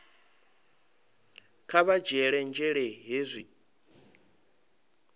kha vha dzhiele nzhele hezwi